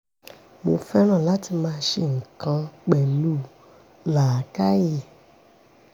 mo fẹ́ràn láti máa ṣe nǹkan pẹ̀lú làákàyè